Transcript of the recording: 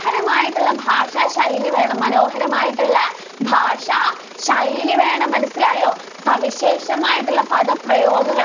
ഹരമായിട്ടുള്ള ഭാഷാശൈലി വേണം. മനോഹരമായിട്ടുള്ള ഭാഷാശൈലി വേണം. മനസ്സിലായോ? സവിശേഷമായിട്ടുള്ള പദ പ്രയോഗങ്ങള്‍